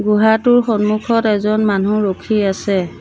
গুহাটোৰ সন্মুখত এজন মানুহ ৰখি আছে।